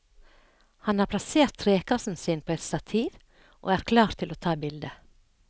Han har plassert trekassen sin på et stativ og er klar til å ta bilde.